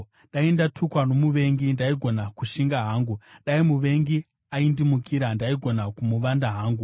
Dai ndatukwa nomuvengi, ndaigona kushinga hangu; dai muvengi aindimukira, ndaigona kumuvanda hangu.